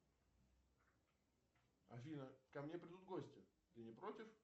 афина ко мне придут гости ты не против